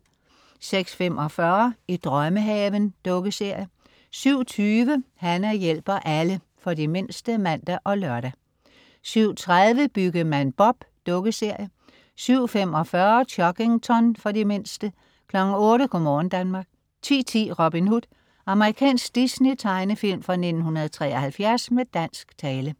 06.45 I drømmehaven. Dukkeserie 07.20 Hana hjælper alle. For de mindste (man og lør) 07.30 Byggemand Bob. Dukkeserie 07.45 Chuggington. For de mindste 08.00 Go' morgen Danmark 10.10 Robin Hood. Amerikansk Disney-tegnefilm fra 1973 med dansk tale